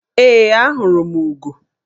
Ee, ahụrụ m ugo.